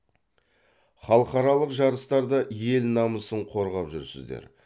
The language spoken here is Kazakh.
халықаралық жарыстарда ел намысын қорғап жүрсіздер